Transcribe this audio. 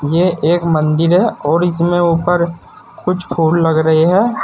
ये एक मंदिर है और इसमें ऊपर कुछ फूल लग रही है।